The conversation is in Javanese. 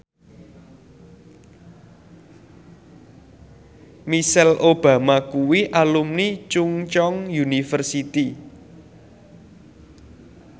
Michelle Obama kuwi alumni Chungceong University